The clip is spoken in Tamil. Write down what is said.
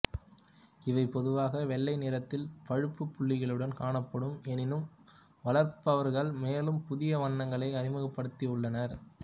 இவை பொதுவாக வெள்ளை நிறத்தில் பழுப்பு புள்ளிகளுடன் காணப்படும் எனினும் வளர்ப்பவர்கள் மேலும் புதிய வண்ணங்களை அறிமுகப்படுத்தியுள்ளனர்